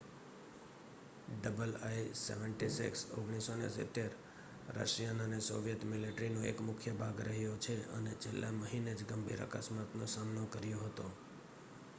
ii-76 1970 Russian અને Soviet મિલ્ટરીનો એક મુખ્ય ભાગ રહ્યો છે અને છેલ્લા મહિનેજ ગંભીર અકસ્માત નો સામનો કર્યો હતો